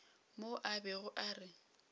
mo a bego a re